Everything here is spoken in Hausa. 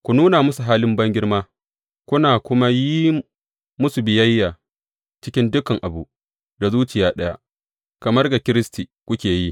Ku nuna musu halin bangirma, kuna kuma yin musu biyayya cikin dukan abu, da zuciya ɗaya kamar ga Kiristi kuke yi.